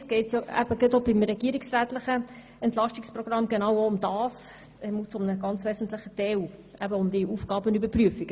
Anderseits geht es auch beim regierungsrätlichen Entlastungsprogramm genau um eine Aufgabenüberprüfung.